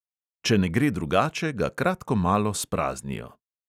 Če ne gre drugače, ga kratko malo spraznijo.